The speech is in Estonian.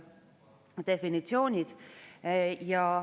Komisjoni istungile kutsuti kõik, kes soovisid oma arvamust sisuliselt esitada.